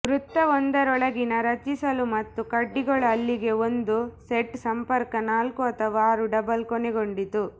ವೃತ್ತವೊಂದರೊಳಗಿನ ರಚಿಸಲು ಮತ್ತು ಕಡ್ಡಿಗಳು ಅಲ್ಲಿಗೇ ಒಂದು ಸೆಟ್ ಸಂಪರ್ಕ ನಾಲ್ಕು ಅಥವಾ ಆರು ಡಬಲ್ ಕೊನೆಗೊಂಡಿತು